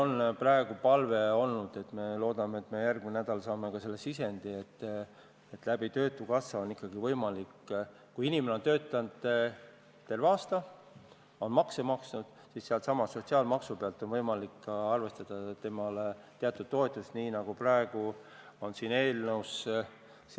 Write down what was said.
Meie palve on praegu olnud see – ja me loodame, et saame järgmisel nädalal ka selle sisendi –, et töötukassa kaudu oleks ikkagi võimalik juhul, kui inimene on töötanud terve aasta ja maksnud makse, arvestada sellesama sotsiaalmaksu pealt talle ka teatud toetust, nii nagu on praegu siin eelnõus.